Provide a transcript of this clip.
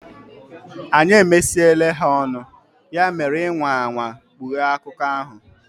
Anyị emesiele ha ọnụ, ya mere ị nwaa anwaa kpughe akụkọ ahụ!